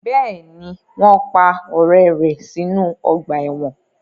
Bẹ́ẹ̀ni, wọn pa ọrẹ rẹ sinu ọgba ẹ́wọ̀n